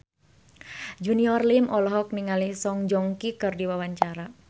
Junior Liem olohok ningali Song Joong Ki keur diwawancara